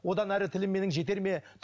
одан әрі тілім менің жетер ме